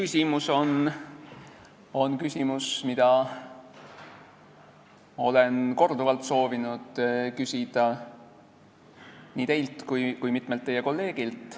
See on küsimus, mida ma olen korduvalt soovinud küsida nii teilt kui ka mitmelt teie kolleegilt.